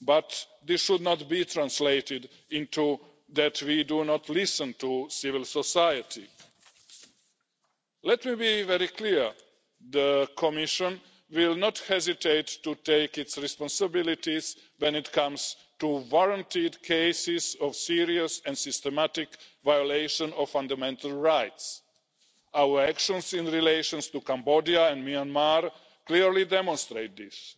but this should not be taken to mean that we do not listen to civil society. Let me be very clear the Commission will not hesitate to take its responsibilities when it comes to warranted cases of serious and systematic violation of fundamental rights. Our actions in relation to Cambodia and Myanmar clearly demonstrate